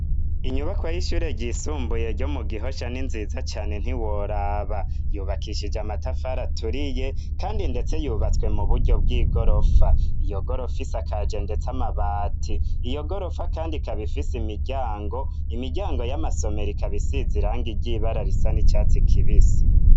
Inyubako y'ishure ryisumbuye ryo mu gihosha ninziza cane ntiworaba yubakishije amatafara aturiye, kandi, ndetse yubatswe mu buryo bw'igorofa iyo gorofa is akaje, ndetse amabati iyo gorofa, kandi kabifise imiryango imiryango y'amasomero ikabisiz iranga ryibara risa n'icatsi kibisi.